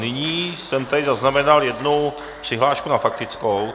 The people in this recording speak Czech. Nyní jsem tady zaznamenal jednu přihlášku na faktickou.